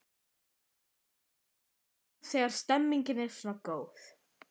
Magnús: Gaman að vinna þegar stemningin er svona góð?